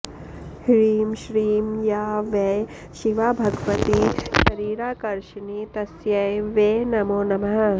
ह्रीं श्रीं या वै शिवा भगवती शरीराकर्षिणी तस्यै वै नमो नमः